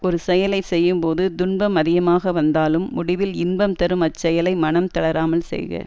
ஒரு செயலை செய்யும்போது துன்பம் அதிகமாக வந்தாலும் முடிவில் இன்பம் தரும் அச்செயலை மனம் தளராமல் செய்க